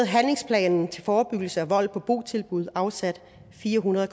handlingsplanen til forebyggelse af vold på botilbud afsat fire hundrede